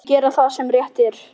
Gera það sem rétt er.